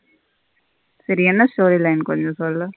சரி என்ன story line கொஞ்ச சொல்லு.